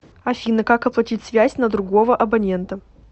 афина как оплатить связь на другого абонента